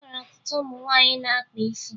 E nwere ọtụtụ ụmụ nwaanyị na-akpa isi